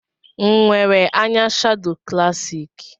Nwere anya shado klassik?